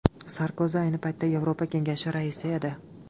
Sarkozi ayni paytda Yevropa Kengashi raisi edi.